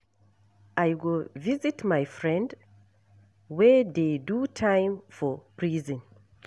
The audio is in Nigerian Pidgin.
I go visit my friend wey dey do time for prison.